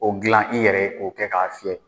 O dilan i yɛrɛ k'o kɛ k'a fiyɛ.